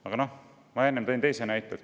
Aga ma tõin enne ka ühe teise näite.